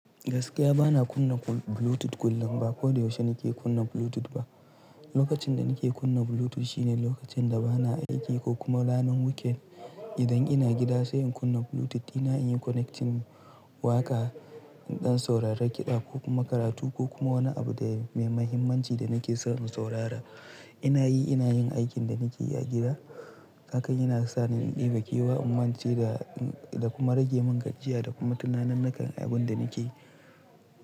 Gaskiya bana kunna Bluetooth kullum ba ko da yaushe nake kunna Bluetooth ba. Lokacin da nake kunna Bluetooth shine lokacin da bana aiki ko kuma ranar weekend. Idan ina gida sai in kunna Bluetooth ina yin connecting waƙa don sauraron kiɗa ko kuma karatu ko kuma wani abu da mai mahimmanci da nake so in saurara. Ina yi ina yin aikin da nake yi a gida. Hakan yana sa ni in yi bakewa, in mance da, da kuma rage mun gajiya da kuma tunanin nakan abun da nake yi.